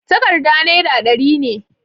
takarda naira dari ne